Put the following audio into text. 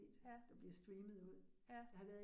Ja. Ja